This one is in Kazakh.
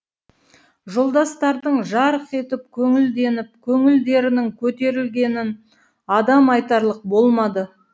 жолдастардың жарқ етіп көңілденіп көңілдерінің көтерілгенін адам айтарлық болмады